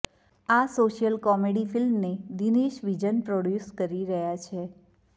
આ social comedy ફિલ્મને Dinesh Vijan produce કરી રહ્યા છે